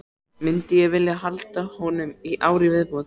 Myndi ég vilja halda honum í ár í viðbót?